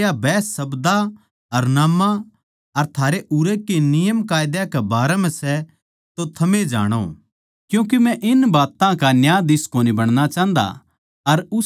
पर जै या बहस शब्दां अर नाम्मां अर थारे उरै के नियमकायदे कै बारै म्ह सै तो थमे जाणो क्यूँके मै इन बात्तां का न्यायाधीश कोनी बणना चाहन्दा